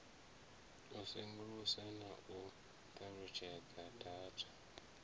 sengulusa na u ṱalutshedza data